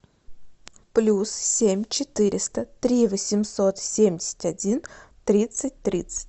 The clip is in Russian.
плюс семь четыреста три восемьсот семьдесят один тридцать тридцать